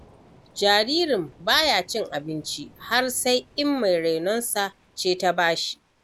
Jaririn ba ya cin abinci, har sai in mai rainonsa ce ta bashi.